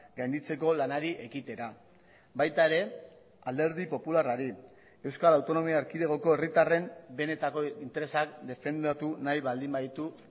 gainditzeko lanari ekitera baita ere alderdi popularrari euskal autonomia erkidegoko herritarren benetako interesak defendatu nahi baldin baditu